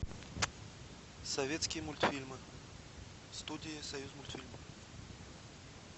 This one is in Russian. советские мультфильмы студии союзмультфильм